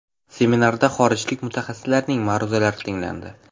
Seminarda xorijlik mutaxassislarning ma’ruzalari tinglandi.